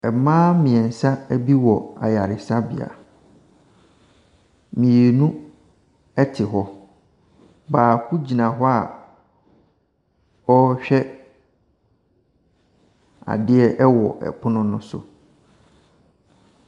Mmaa mmiɛnsa ebi wɔ ayaresabea. Mmienu ɛte hɔ, baako gyina hɔ a ɔrehwɛ adeɛ ɛwɔ ɛpono no so.